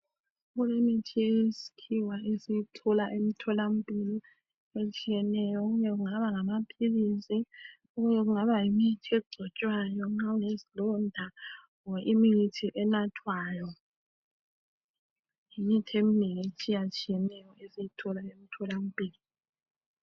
Kulemithi yesikhiwa esiyithoka emtholampilo. Etshiyeneyo. Okunye kungaba gamaphilisi, Okunye kungaba yimithi egcotshwayo, nxa ulezilonda. . Loba imithi ebathwayo. lmithi eminengi etshiyathiyeneyo, esiyithola emtholampilo.